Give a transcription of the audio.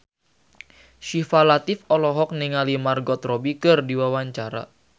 Syifa Latief olohok ningali Margot Robbie keur diwawancara